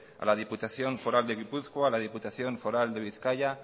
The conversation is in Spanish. a la diputación foral de gipuzkoa a la diputación foral de bizkaia